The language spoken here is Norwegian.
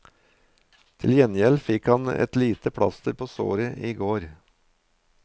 Til gjengjeld fikk han et lite plaster på såret i går.